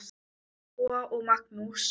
Lóa og Magnús.